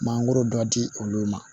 Mangoro dɔ di olu ma